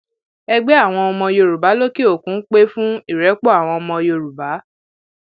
ẹgbẹ àwọn ọmọ yorùbá lókèòkun pé fún ìrẹpọ àwọn ọmọ yorùbá